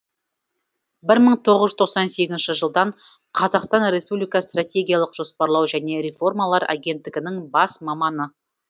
бір мың тоғыз жүз тоқсан сегізінші жылдан қазақстан республикасы стратегиялық жоспарлау және реформалар агенттігінің бас маманы